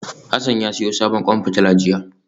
Hassan ya siyo sabon kwan fitila jiya